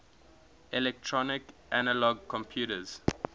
electronic analog computers